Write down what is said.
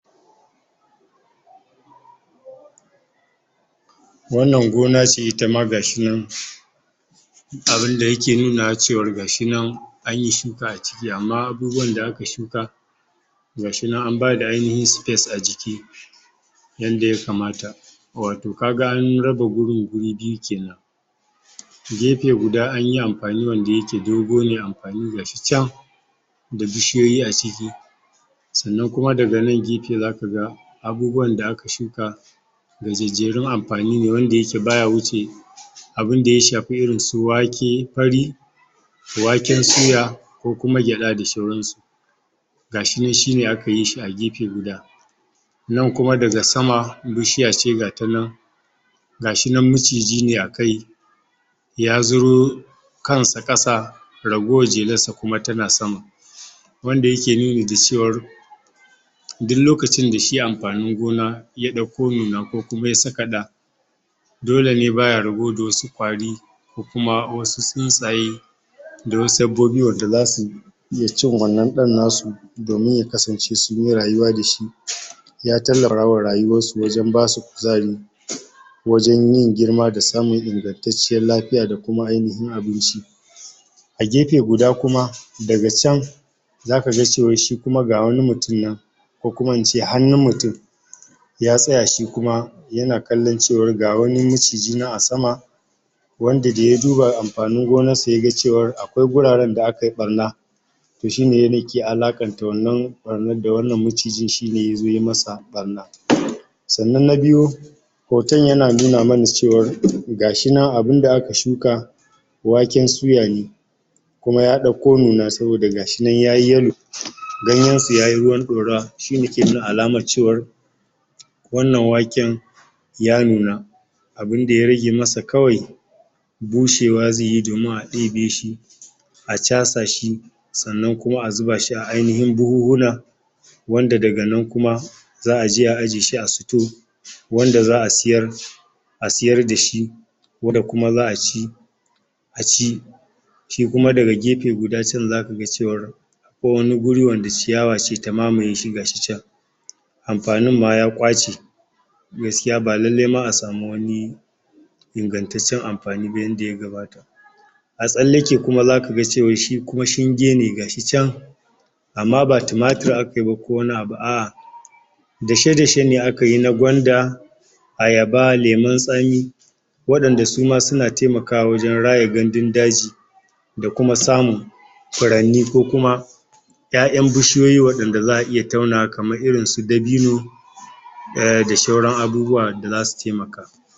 [paused] Wannan gona ce itama gashi nan abunda yake nunawa cewar gashi nan anyi shuka aciki amma abubuwan da aka shuka gashi nan an bada ainihin space a jiki yanda ya kamata wato kaga an raba gurin guri biyu kenan gefe guda anyi amfani wanda yake dogo ne amfani gashi can da bishiyoyi aciki sannan kuma daga nan gefe zaka abubuwan da aka shuka gajejjerun amfani ne wanda yake baya wuce abunda ya shafi irin su wake fari waken suya ko kuma gyaɗa da sauran su gashi nan shi ne akayi shi a gefe guda nan kuma daga sama bishiya ce gata nan gashi nan miciji ne akai ya zuro kansa ƙasa ragowar jelarsa kuma tana sama wanda yake nuni da cewar duk lokacin da shi amfanin gona ya ɗauko nuna ko kuma ya saka ɗa dole ne baya rabo da wasu ƙwari ko kuma wasu tsuntsaye da wasu dabbobi wanda zasu iya cin wannan ɗan nasu domin ya kasance sunyi rayuwa dashi ya tallarawa rayuwarsu wajen basu kuzari wajen yin girma da samun ingantacciyar lafiya da kuma ainihin abinci a gefe guda kuma daga can zaka ga cewar shi kuma ga wani mutum nan ko kuma ince hannun mutum ya tsaya shi kuma yana kallan cewar ga wani maciji nan a sama wanda da ya duba amfanin gonan sa yaga cewar akwai kwai guraren da akai ɓarna toh shi ne yake alaƙanta wannan ɓarnar da wannan macijin shi ne yazo ye masa ɓarna sannan na biyu hoton yana nuna mana cewar gashi nan abunda aka shuka waken suya ne kuma ya ɗauko nuna saboda gashi nan yayi yelo ganyen su yayi ruwan ɗorawa shi ne yake nuna alamar cewar wannan waken ya nuna abunda ya rage masa kawai bushewa zaiyi domin a ɗebe shi a casa shi sannan kuma a zuba shi a ainihin buhun-huna wanda daga nan kuma za'a je a ajiye shi a store wanda za'a siyar a siyar dashi wanda kuma za'a ci a ci shi kuma daga gefe guda can zaka ga cewar ko wani guri wanda ciyawa ce ta mamaye shi gashi can amfanin ma ya ƙwace gaskiya ba lalle ma a samu wani ingantaccen amfani ba yanda ya gabata a tsallake kuma zaka ga cewa shi kuma shinge gashi can amma ba tumatir akayi ba ko wani abu, a'a dashe-dashe ne akayi na gwanda ayaba, lemun tsami waɗanda suma suna taimakawa wajen raya gandun daji da kuma samun furanni ko kuma ƴaƴan bishiyoyi waɗanda za'a iya taunawa kamar irin su dabino um da sauran abubuwa da zasu taimaka